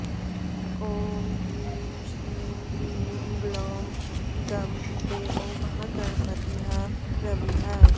ॐ ह्रीं श्रीं क्लीं ग्लौं गँ देवो महागणपतिः प्रभुः